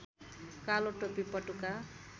कालो टोपी पटुका